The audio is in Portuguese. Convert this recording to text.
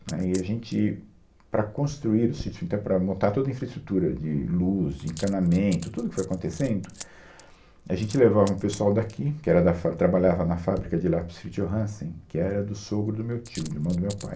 Né, E a gente, para construir o sítio, e até para montar toda a infraestrutura de luz, de encanamento, tudo o que foi acontecendo, a gente levava um pessoal daqui, que era da fá, trabalhava na fábrica de lápis Fritz Johansen, que era do sogro do meu tio, irmão do meu pai.